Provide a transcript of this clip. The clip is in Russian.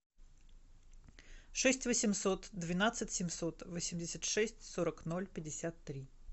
шесть восемьсот двенадцать семьсот восемьдесят шесть сорок ноль пятьдесят три